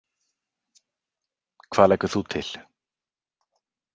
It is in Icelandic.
Hvað leggur þú til?